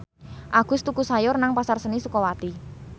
Agus tuku sayur nang Pasar Seni Sukawati